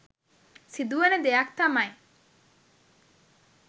සිදුවන දෙයක් තමයි